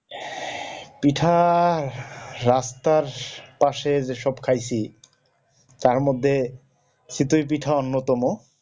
পিঠা পশে যে সব খাইসি তার মধ্যে চিতই পিঠা অন্যতম